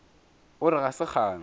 o re ga se kgale